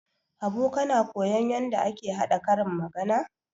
Habu kana koyon yadda ake haɗa karin magana?